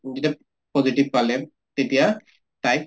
যেতিয়া positive পালে তেতিয়া তাইক